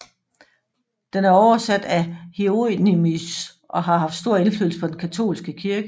Den er oversat af Hieronimus og har haft stor indflydelse på den katolske kirke